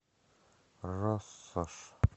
россошь